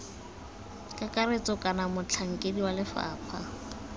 kakaretso kana motlhankedi wa lefapha